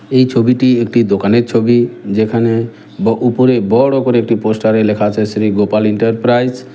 এই ছবিটি একটি দোকানের ছবি যেখানে ব উপরে বড় করে একটি পোস্টার -এ লেখা আছে শ্রী গোপাল ইন্টারপ্রাইস ।